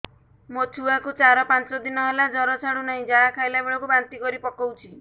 ମୋ ଛୁଆ କୁ ଚାର ପାଞ୍ଚ ଦିନ ହେଲା ଜର ଛାଡୁ ନାହିଁ ଯାହା ଖାଇଲା ବେଳକୁ ବାନ୍ତି କରି ପକଉଛି